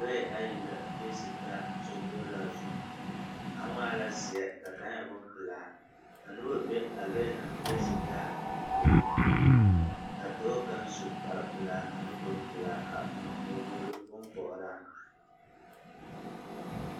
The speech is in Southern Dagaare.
Lɔɛ ayi la feesi taa sokoɔraa zuŋ, kaŋwaa la zeɛ ka kaŋa e bompelaa ka noba be a lɔɛ naŋfeesi taa puoriŋ ka dɔɔ kaŋ su kpare pelaa ane kuri pelaa a eŋ nyebogiri bompɔgeraa.